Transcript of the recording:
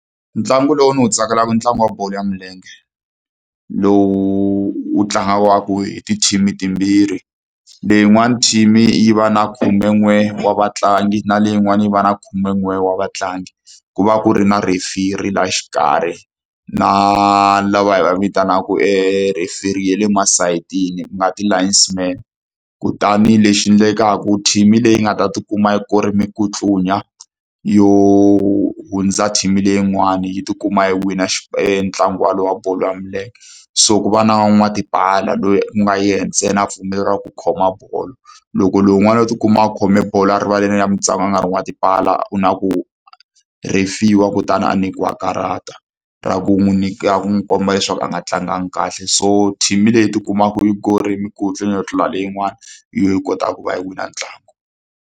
Ntlangu lowu ndzi wu tsakelaka i ntlangu wa bolo ya milenge, lowu wu tlangiwaka hi ti-team-i timbirhi. Leyin'wani team-i yi va na khumen'we wa vatlangi na leyin'wani yi va na khumen'we wa vatlangi. Ku va ku ri na referee laha xikarhi, na lava hi va vitanaka referee ya le masayitini, ku nga ti-linesman. Kutani lexi endlekaka team-i leyi nga ta ti kuma yi kore mikutlunya yo hundza team-i leyin'wani, yi tikuma yi wina e ntlangu walowo wa bolo ya milenge. So ku va na van'watipala loyi u nga yena ntsena a pfumeleriwaka ku khoma bolo. Loko lowun'wana o ti kuma a khome bolo erivaleni ra mitlangu a nga ri n'watipala, ku na ku rhefiwa kutani a nyikiwa karata, ra ku n'wi ra ku n'wi komba leswaku a nga tlangangi kahle. So team-i leyi ti kumaku yi korile minkutlunya yo tlula leyin'wani, hi yona yi kotaka ku va yi wina ntlangu.